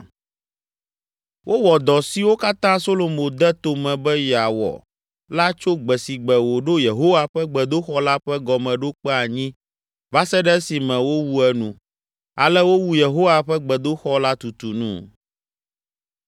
Wowɔ dɔ siwo katã Solomo de tome be yeawɔ la tso gbe si gbe wòɖo Yehowa ƒe gbedoxɔ la ƒe gɔmeɖokpe anyi va se ɖe esime wowu enu. Ale wowu Yehowa ƒe gbedoxɔ la tutu nu.